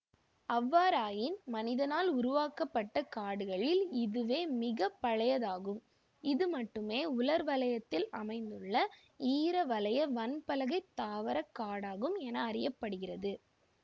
அவ்வாறாயின் மனிதனால் உருவாக்கப்பட்ட காடுகளில் இதுவே மிக பழையதாகும் இது மட்டுமே உலர்வலயத்தில் அமைந்துள்ள ஈரவலய வன்பலகைத் தாவரக் காடாகும் என அறிய படுகிறது